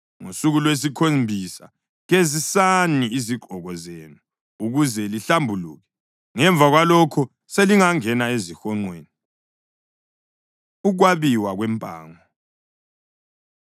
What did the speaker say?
Ngosuku lwesikhombisa gezisani izigqoko zenu ukuze lihlambuluke. Ngemva kwalokho selingangena ezihonqweni.” Ukwabiwa Kwempango